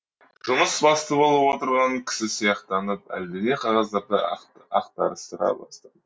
жұмыс басты болып отырған кісі сияқтанып әлдене қағаздарды ақтарыстыра бастады